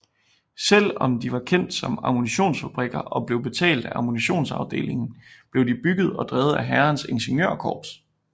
Selv om de var kendt som ammunitionsfabrikker og blev betalt af ammunitionsafdelingen blev de bygget og drevet af hærens ingeniørkorps